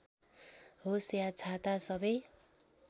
होस् या छाता सबै